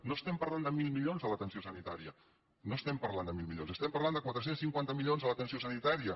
no estem parlant de mil milions a l’atenció sanitària no estem parlant de mil milions estem parlant de quatre cents i cinquanta milions a l’atenció sanitària